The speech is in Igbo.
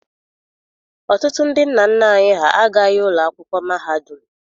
Ọtụtụ ndị nna nna anyị ha agaghị ụlọ akwụkwọ mahadum.